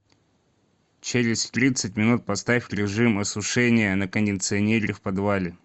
через тридцать минут поставь режим осушения на кондиционере в подвале